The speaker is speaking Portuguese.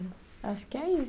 Acho que é isso.